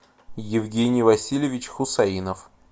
евгений васильевич хусаинов